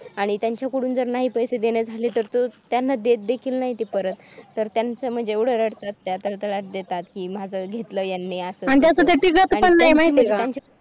आणि त्यांच्याकडून जर नाही पैसे देणे झाले तर तो त्यांना दे देखील नाही तो परत त्यांचा म्हणजे रडत असते त्रास देतात किंवा जवळ माझं घेतलं यांनी अस